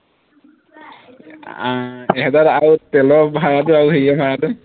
আহ এহেজাৰত আৰু তেলৰ ভাড়াটো আৰু হেৰিৰ ভাড়াটো